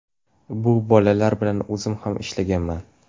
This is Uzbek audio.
Bu bolalar bilan o‘zim ham ishlaganman.